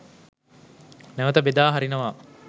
නැවත බෙදා හරිනවා.